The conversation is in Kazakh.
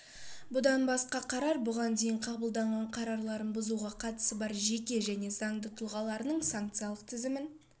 бұдан басқа қарар бұған дейін қабылдаған қарарларын бұзуға қатысы бар жеке және заңды тұлғаларының санкциялық тізімін